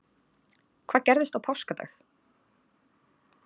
Hvað gerðist á páskadag?